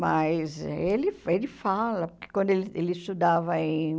Mas ele ele fala, porque quando ele ele estudava em...